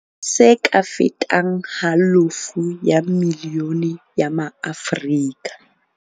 Se ka fetang halofo ya milione ya maAfrika.